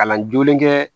Kalan jolen kɛ